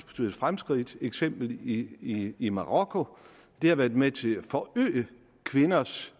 betydet fremskridt eksempelvis i i marokko det har været med til at forøge kvinders